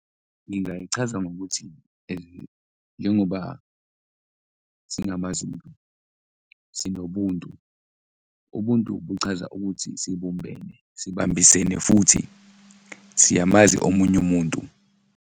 Ngingayichaza ngokuthi njengoba singamaZulu sinobuntu, ubuntu buchaza ukuthi sibumbene, sibambisene futhi siyamazi omunye umuntu.